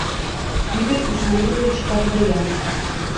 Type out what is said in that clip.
игорь исмаилович авдоян